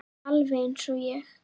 Alveg eins og ég!